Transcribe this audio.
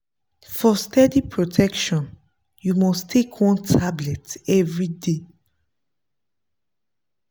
for steady protection you must take one tablet everyday.